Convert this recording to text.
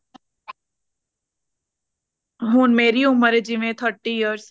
ਹੁਣ ਮੇਰੀ ਉਮਰ ਆ ਜਿਵੇ thirty years